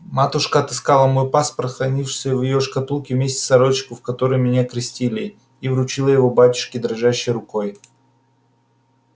матушка отыскала мой паспорт хранившийся в её шкатулке вместе с сорочкою в которой меня крестили и вручила его батюшке дрожащею рукою